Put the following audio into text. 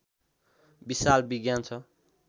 विशाल विज्ञान छ